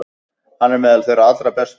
Hann er meðal þeirra allra bestu.